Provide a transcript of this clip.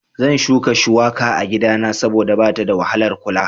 Zan shuka shuwaka a gidana saboda bata da wahalar kula